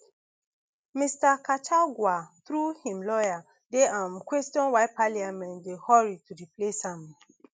mr kachagua through im lawyer dey um question why parliament dey hurry to replace am